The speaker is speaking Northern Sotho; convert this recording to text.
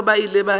ba gagwe ba ile ba